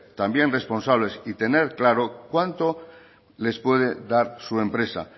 también responsables y tener claro cuánto les puede dar su empresa